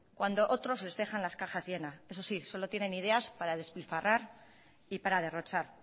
cuando otros les deja las cajas llenas eso sí solo tienen ideas para despilfarrar y para derrochar